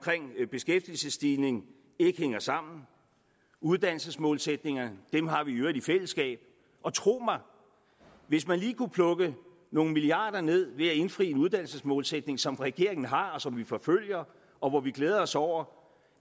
beskæftigelsesstigning ikke hænger sammen uddannelsesmålsætningerne dem har vi i øvrigt i fællesskab og tro mig hvis man lige kunne plukke nogle milliarder ned ved at indfri en uddannelsesmålsætning som regeringen har og som vi forfølger og hvor vi glæder os over